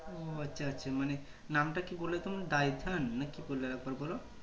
ও আচ্ছা আচ্ছা মানে নাম তা কি বললে তুমি Dyphane না কি বললে আরেকবার বোলো